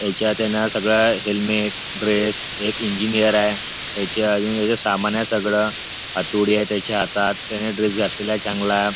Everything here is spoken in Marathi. ह्याच्यात आहे ना सगळं हेल्मेट ड्रेस एक इंजिनियर आहे ह्याच्या अजून सामान आहे सगळं हातोडी आहे त्याच्या हातात त्याने ड्रेस घातलेला आहे चांगला.